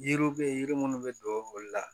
Yiriw bɛ yiri munnu bɛ don ekɔli la